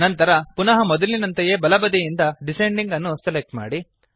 ನಂತರ ಪುನಃ ಮೊದಲಿನಂತೆಯೇ ಬಲಬದಿಯಿಂದ Descendingಅನ್ನು ಸೆಲೆಕ್ಟ್ ಮಾಡಿ